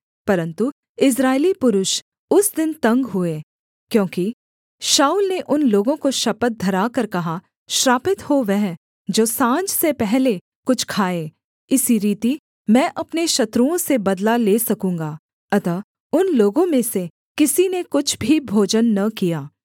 परन्तु इस्राएली पुरुष उस दिन तंग हुए क्योंकि शाऊल ने उन लोगों को शपथ धराकर कहा श्रापित हो वह जो साँझ से पहले कुछ खाए इसी रीति मैं अपने शत्रुओं से बदला ले सकूँगा अतः उन लोगों में से किसी ने कुछ भी भोजन न किया